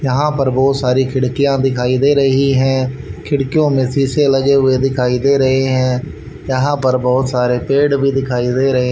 यहां पर बहुत सारी खिड़कियां दिखाई दे रही है खिड़कियों में शीशे लगे हुए दिखाई दे रहे हैं यहां पर बहुत सारे पेड़ भी दिखाई दे रहे--